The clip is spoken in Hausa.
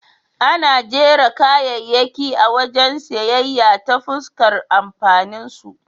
Ana jera kayayyaki a wajen siyayya ta fuskar amfaninsu.